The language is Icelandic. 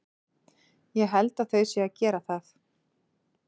Ég held þau séu að gera það.